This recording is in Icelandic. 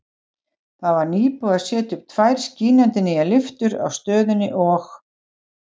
Það var nýbúið að setja upp tvær skínandi nýjar lyftur á stöðinni og